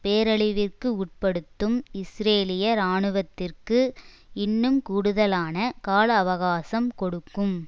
பேரழிவிற்கு உட்படுத்தும் இஸ்ரேலிய இராணுவத்திற்கு இன்னும் கூடுதலான கால அவகாசம் கொடுக்கும்